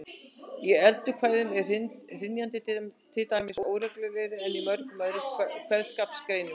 Í eddukvæðum er hrynjandi til dæmis óreglulegri en í mörgum öðrum kveðskapargreinum.